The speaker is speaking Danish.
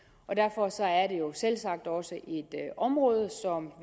selvsagt også et område som